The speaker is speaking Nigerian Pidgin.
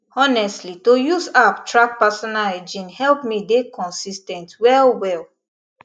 honestly to use app track personal hygiene help me dey consis ten t well well